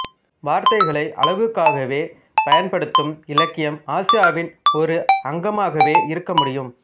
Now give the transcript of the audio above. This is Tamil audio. வார்த்தைகளை அழகுக்காகவே பயன்படுத்தும் இலக்கியம் ஆசியாவின் ஒரு அங்கமாகவே இருக்கமுடியும்